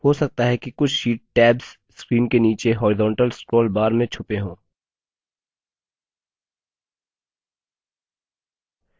अगर काफी शीट्स हैं तो हो सकता है कि कुछ sheets tabs screen के नीचे horizontal scroll bar में छुपे हों